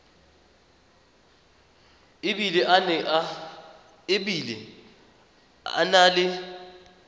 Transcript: e bile a na le